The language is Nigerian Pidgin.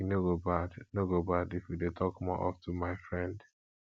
e no go bad no go bad if we dey talk more of ten my friend